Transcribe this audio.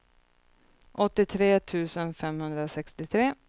åttiotre tusen femhundrasextiotre